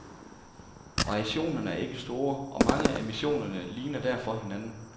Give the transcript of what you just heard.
Variationerne er ikke store, og mange af missionerne ligner derfor hinanden.